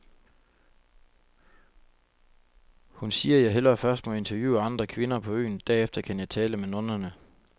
Hun siger, jeg hellere først må interviewe andre kvinder på øen, derefter kan jeg tale med nonnerne.